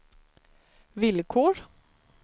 villkor